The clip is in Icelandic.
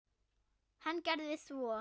Hann gerði svo.